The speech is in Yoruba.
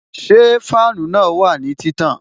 Ṣé fáànù na wà ní títàn?